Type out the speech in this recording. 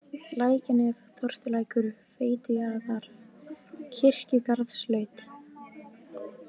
Lækjarnef, Tortulækur, Veitujaðar, Kirkjugarðslaut